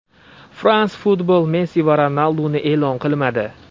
France Football Messi va Ronalduni e’lon qilmadi.